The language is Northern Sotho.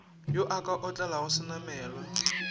yo a ka otlelago senamelwa